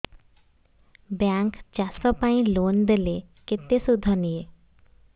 bank ଚାଷ ପାଇଁ loan ଦେଲେ କେତେ ସୁଧ ନିଏ